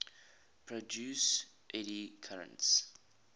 produce eddy currents